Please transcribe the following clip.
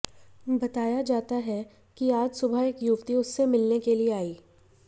बताया जाता है कि आज सुबह एक युवती उससे मिलने के लिए आई